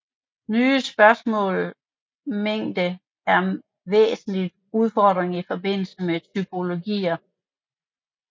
Netop spørgsmålet mængde er en væsentlig udfordring i forbindelse med typologier